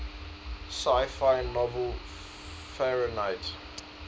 sci fi novel fahrenheit